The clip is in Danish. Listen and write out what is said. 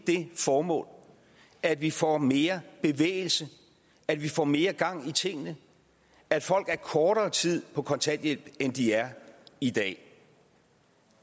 det formål at vi får mere bevægelse at vi får mere gang i tingene at folk er kortere tid på kontanthjælp end de er i dag